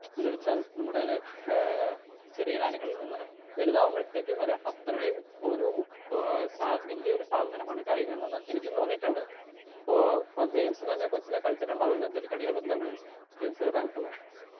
Speaker 2 എന്ന വെച്ചാൽ നമ്മടെ ഏ ചെറിയ കാലങ്ങളിൽ നിന്ന് വലുതാവുമ്പത്തേക്കും വരെ അത്രയും ഒരു ഏ സാ വല്ല്യൊരു സാധമനാണ് കായികംന്ന് എനിക്കും തോന്നീട്ടുണ്ട് ഇപ്പോ ഇപ്പൊ ജെയിംസ് തന്നെ കൊച്ചിലേ കളിചിട്ടുണ്ടാവോലോ എന്തേലും കളികള് എന്താണ് ജെയിംസിന് പറയാനുള്ളെ.